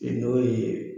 N'o ye